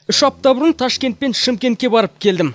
үш апта бұрын ташкент пен шымкентке барып келдім